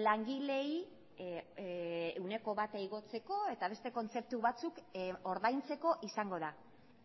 langileei ehuneko bata igotzeko eta beste kontzeptu batzuk ordaintzeko izango da